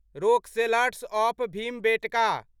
rock shelters of Bhimbetka